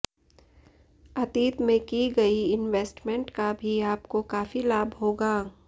अतीत में की गई इन्वेस्टमेंट का भी आपको काफी लाभ होगा